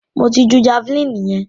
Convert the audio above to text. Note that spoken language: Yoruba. Mo ti ju javeline yẹn.